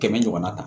Kɛmɛ ɲɔgɔnna ta